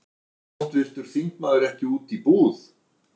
Fer háttvirtur þingmaður ekki út í búð?